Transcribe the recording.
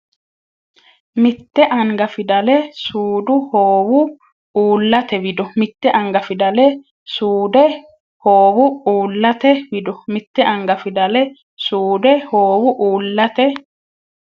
Mitte anga fidale suude hoowu uullate wido Mitte anga fidale suude hoowu uullate wido Mitte anga fidale suude hoowu uullate.